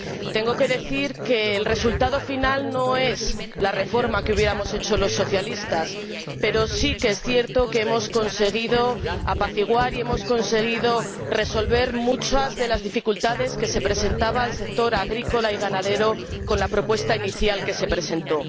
Tengo que decir que el resultado final no es la reforma que hubiéramos hecho los socialistas, pero sí que es cierto que hemos conseguido apaciguar y resolver muchas de las dificultades que se presentaban para el sector agrícola y ganadero con la propuesta inicial que se presentó.